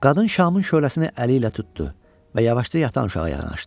Qadın şamın şöləsini əli ilə tutdu və yavaşca yatan uşağa yanaşdı.